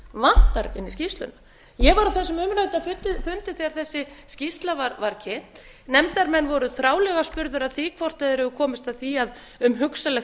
inn í skýrsluna ég var á þessum umrædda fundi þegar þessi skýrsla var kynnt nefndarmenn voru ári lega spurðir að því hvort þeir hefðu komist að því að um hugsanlegt